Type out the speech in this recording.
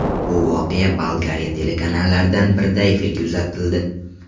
Bu voqea Bolgariya telekanallaridan birida efirga uzatildi.